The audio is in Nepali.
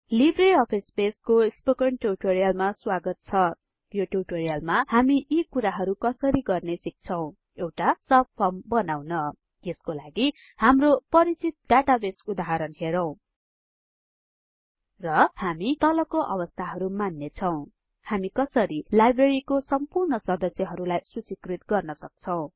लिब्रे अफिस बेसको स्पोकन ट्युटोरियलमा स्वागत छ यो ट्युटोरियलमा हामी यी कुराहरु कसरी गर्ने सिक्छौं एउटा सबफर्म बनाउन यसको लागि हाम्रो परिचित डाटाबेस उदाहरण हेरौं र हामी तलको अवस्थाहरु मान्नेछौं हामी कसरी लाइब्रेरीको सम्पूर्ण सदस्यहरुलाई सुचिकृत गर्न सक्छौं